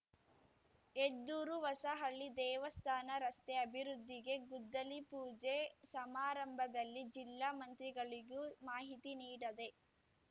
ಹೆದ್ದೂರುಹೊಸಹಳ್ಳಿ ದೇವಸ್ಥಾನ ರಸ್ತೆ ಅಭಿವೃದ್ಧಿಗೆ ಗುದ್ದಲಿ ಪೂಜೆ ಸಮಾರಂಭದಲ್ಲಿ ಜಿಲ್ಲಾ ಮಂತ್ರಿಗಳಿಗೂ ಮಾಹಿತಿ ನೀಡದೆ